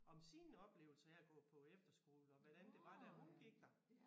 Om sine oplevelser af at gå på efterskole og hvordan det var da hun gik der